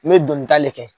N bɛ dɔnkilida de kɛ